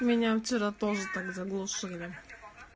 меня вчера тоже так заглушили